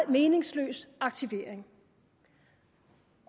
meningsløs aktivering